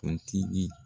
Kuntigi